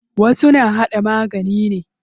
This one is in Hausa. Wasu na haɗa magani ne.